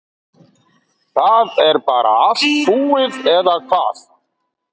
Það er bara allt búið eða hvað?